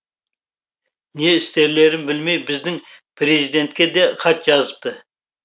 не істерлерін білмей біздің президентке де хат жазыпты